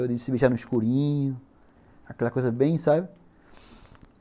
De se beijar no escurinho, aquela coisa bem, sabe?